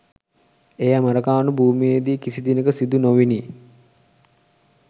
එය ඇමරිකානු භූමියේදී කිසි දිනක සිදු නොවිණි.